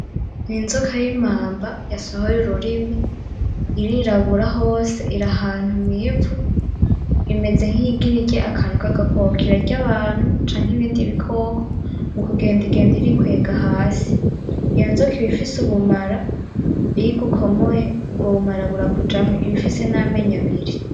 Inzoka bita imamba yasohoye ururimi , irirabura hose iri ahantu mw’ivu imeze nk’iyigira irye akantu kagakoko. Irarya abantu canke ibindi bikoko , mu kugenda igenda irikwega hasi . Iyo nzoka ibifise ubumara iyigukomoye ubwo bumara burakujamwo ibifise n’amenyo abiri.